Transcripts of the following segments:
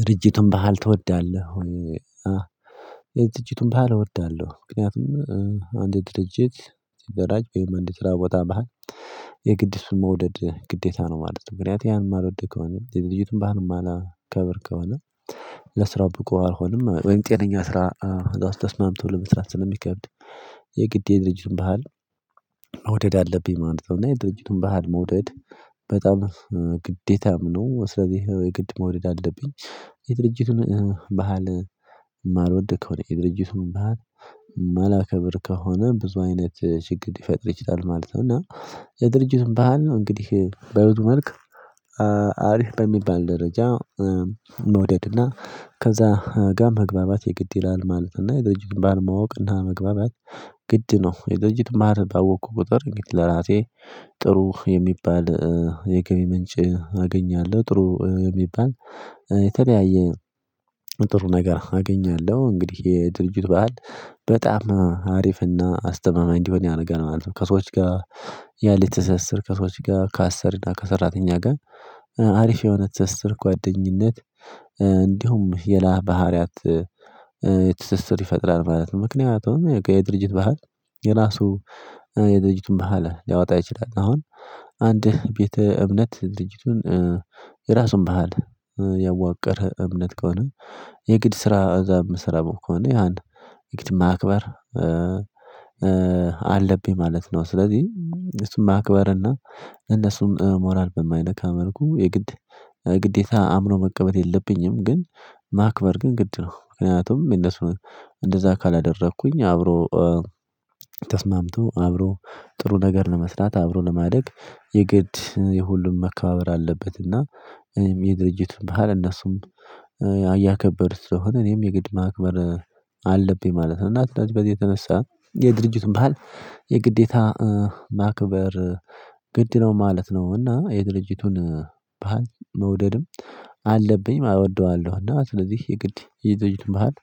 ድርጅቱን ባህል ትወዳለህ? ድርጅቱን ባህል እወዳለሁ ምክንያቱም አንድ ድርጅት አደራጅ ወይም አንድ ስራ ቦታ ባህል የግድ እርሱን መውደድ ግዴታ ነው ማለት ነው። ምክንያቱም ያንን ማልወድ ከሆነ ድርጅቱን ባህልም ማላከብር ከሆነ ለስራው ብቁ አልሆንም ወይም ጤነኛ ስራ ሰው ጋር ተስማምቶ ለመስራት ስለሚከብድ የግድ የድርጅቱን ባህል መውደድ አለብኝ ማለት ነው። እና የድርጅቱን ባህል መውደድ በጣም ግዴታም ነው ስለዚህ የግድ መውደድ አለብኝ። የድርጅቱን ባህል የማልወድ ከሆነ የድርጅቱን ባህል የማላከብር ከሆነ ብዙ አይነት ችግር ሊፈጥር ይችላል ማለት ነው። እና የድርጅቱን ባህል ነው እንግዲህ በብዙ መልክ አሪፍ በሚባል ደረጃ መውደድ እና ከዛ ጋር መግባባት የግድ ይላል ማለት እና የድርጅት ባህል ማወቅ እና መግባባት ግድ ነው። የድርጅት ባህል ባወቅኩ ቁጥር እንግዲህ ለራሴ ጥሩ የሚባል የገቢ ምንጭ አገኛለሁ ጥሩ የሚባል የተለያየ ጥሩ ነገር አገኛለሁ። እንግዲህ የድርጅቱ በዓል በጣም አሪፍና አስተማማኝ እንዲሆን ያደርጋል ማለት ነው። ከሰዎች ጋር ያለኝ ትስስር ከሰዎች ጋር ከአሰሪ እና ከሰራተኛ ጋር አሪፍ የሆነ ትስስር ጓደኝነት እንዲሁም ሌላ ባህሪያት ይፈጥራል ማለት ነው። ምክንያቱም የድርጅት ባህል የራሱ የድርጅቱን ባህል ሊያወጣ ይችላል አሁን አንድ ቤተ እምነት ድርጅቱን የራሱን ባህል ያዋቅር እምነት ከሆነ የግድ ስራ እዛ የምሰራ ከሆነ ያን የግድ ማክበር አለብኝ ማለት ነው። ስለዚህ እሱን ማክበርና የእነሱን ሞራል በማይነካ መልኩ የግዴታ አምኖ መቀበል የለብኝም ግን ማክበር ግን ግድ ነው። ምክንያቱም የእነርሱን እንደዛ ካላደረኩኝ አብሮ ተስማምቶ አብሮ ጥሩ ነገር ለመስራት አብሮ ለማደግ የግድ የሁሉም መከባበር አለበት እና የድርጅቱን ባህል እነርሱም አያከበሩት ስለሆነ እኔም የግድ ማክበር አለብኝ ማለት ነው። እና ስለዚህ በዚህ የተነሳ የድርጅቱን ባህል የግዴታ ማክበር ግድ ነው ማለት ነው። እና የድርጅቱን ባህል መውደድም አለብኝም እወደዋለሁ እና ስለዚህ የግድ የድርጅቱ ባህል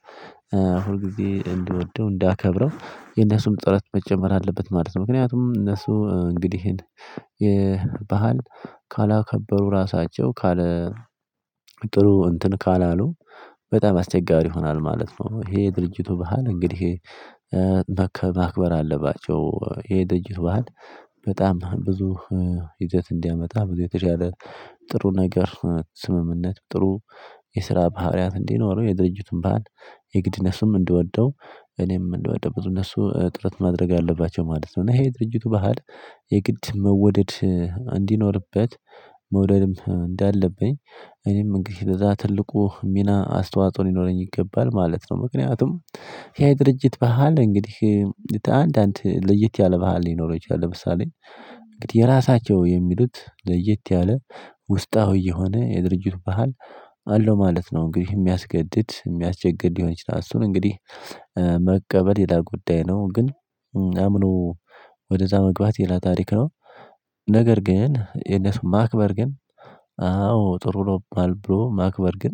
ሁል ጊዜ እንድወደው እንዳከብረው የነሱም ጥረት መጨመር አለበት ማለት ነው። ምክንያቱም እነሱ እንግዲህ ይሄን ባህል ካላከበሩ ራሳቸው ካለ ጥሩ እንትን ካላሉ በጣም አስቸጋሪ ይሆናል ማለት ነው። ይሄ ድርጅቱ ባህል እንግዲህ ማክበር አለባቸው የድርጅት ባህል በጣም ብዙ ይዘት እንዲያመጣ ብዙ የተሻለ ጥሩ ነገር ስምምነት ጥሩ የስራ ባህሪያት እንዲኖረው የድርጅቱን ባህል የግድ እነርሱም እንደወደው እኔም እንድወደው ብዙ እነርሱ ጥረት ማድረግ አለባቸው ማለት ነው። እና ይሄ ድርጅቱ ባህል የግድ መወደድ እንዲኖርበት መውደድም እንዳለብኝ እኔም እንግዲህ ከዛ ትልቁ ሚና አስተዋጽኦ ሊኖረኝ ይገባል ማለት ነው። ምክንያቱም ያ ድርጅት በዓል እንግዲህ አንዳንድ ለየት ያለ ባህል ሊኖረው ይችላል ለምሳሌ የራሳቸው የሚሉት ለየት ያለ ውስጣዊ የሆነ የድርጅቱ ባህል አለው ማለት ነው። እንግዲህ የሚያስገድድ የሚያስቸግር ሊሆን ይችላል እርሱን መቀበል ሌላ ጉዳይ ነው። ግን አምኖ ወደእዛ መግባት ሌላ ታሪክ ነው። ነገር ግን የእነሱ ማክበር ግን አው ጥሩ ነው ብሎ ማክበር ግን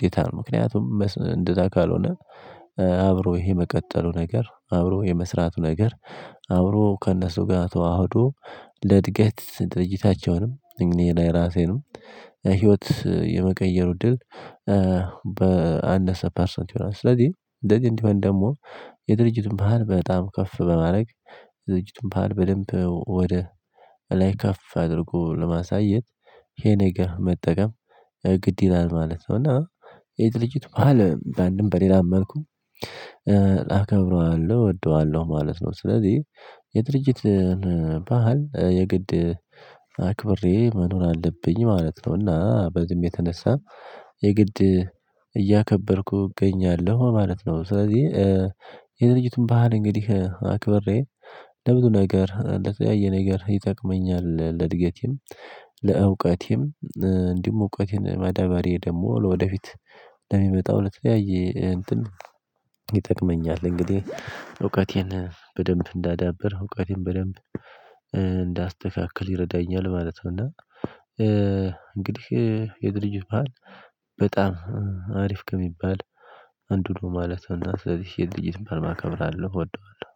ግዴታ ነው። ምክንያቱም እንደዛ ካልሆነ አብሮ ይሄ መቀጠሉ ነገር አብሮ የመስራቱ ነገር አብሮ ከእነሱ ጋር ተዋህዶ ለእድገት ድርጅታቸውንም እኔ ላይ ራሴንም ህይወት የመቀየሩ እድል በአንድ አስር ፐርሰንት ይሆናል። ስለዚህ እንደዚህ እንዲሆን ደግሞ የድርጅቱን ባህል በጣም ከፍ በማድረግ ድርጅቱን ባህል በደንብ ወደ ላይ ከፍ አድርጎ ለማሳየት ይሄን ነገር መጠቀም ግድ ይላል ማለት ነው። እና የድርጅት በዓል በአንድም በሌላም መልኩ አከብረዋለሁ እወደዋለሁ ማለት ነው። ስለዚህ የድርጅት ባህል የግድ አክብሬ መኖር አለብኝ ማለት ነው። እና በዚህም የተነሳ የግድ እያከበርኩ እገኛለሁ ማለት ነው። ስለዚህ የድርጅቱን ባህል እንግዲህ አክብሬ ለብዙ ነገር ለተለያየ ነገር ይጠቅመኛል ለእድገቴም ለእውቀቴም እንዲሁ እውቀቴን ማዳበሬ ደግሞ ወደፊት ለሚመጣው ለተለያየ እንትን ይጠቅመኛል እንግዲህ እውቀቴን በደንብ እንዳዳብር እውቀቴን በደንብ እንዳስተካክል ይረዳኛል ማለት ነው። እና የድርጅት ባህል በጣም አሪፍ ከሚባል አንዱ ነው ማለት እና ስለዚህ የድርጅትን በዓል አከብራለሁ እወደዋለሁ